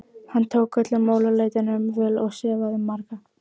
Hann tók öllum málaleitunum vel og sefaði marga.